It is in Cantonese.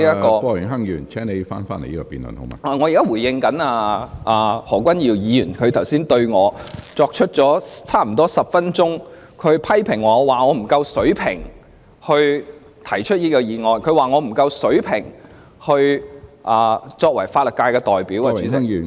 我現時是在回應何君堯議員剛才對我作出接近10分鐘的批評，他說我不夠水平提出這項議案，又說我不夠水平擔任法律界代表。